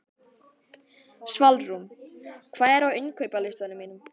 Svalrún, hvað er á innkaupalistanum mínum?